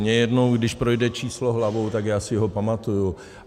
Mně jednou, když projde číslo hlavou, tak já si ho pamatuju.